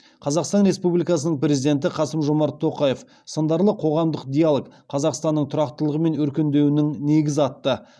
қазақстан республикасының президенті қасым жомарт тоқаев сындарлы қоғамдық диалог қазақстанның тұрақтылығы мен өркендеуінің негізі атты